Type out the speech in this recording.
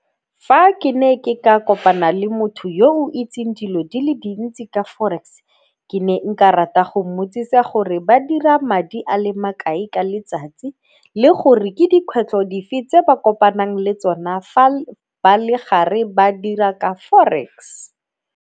Fa ke ne ke ka kopana le motho yo o itseng dilo di le dintsi ka forex ke ne nka rata go mmotsisa gore ba dira madi a le makae ka letsatsi le gore ke dikgwetlho dife tse ba kopanang le tsona fa ba le gare ba dira ka forex.